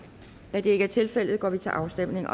da det ikke er tilfældet går vi til afstemning